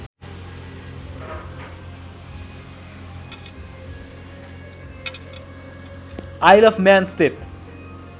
Isle of Man स्थित